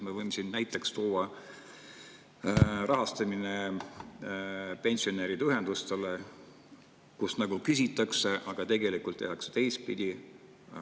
Me võime siin näiteks tuua pensionäride ühenduste rahastamise, mille puhul nagu küsitakse, aga tegelikult tehakse teistpidi.